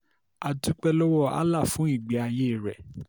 a dúpẹ́ lọ́wọ́ allah fún ìgbé ayé rẹ̀